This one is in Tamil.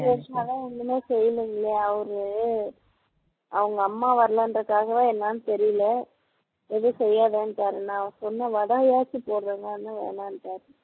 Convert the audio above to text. வருசமாதான் ஒண்ணுமே செய்யலைங்களே அவர் அவங்க அம்மா வரலைங்கிறதுக்காகவா என்னன்னு தெரியல எதும் செய்யாதன்னுட்டார் நான் சொன்னே வடையாச்சும் போடறேன்னேன் வேண்டான்னுட்டார்